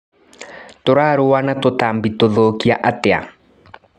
Tũrarũa na tũtambi tũthũkia atia.